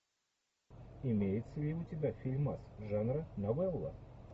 имеется ли у тебя фильмас жанра новелла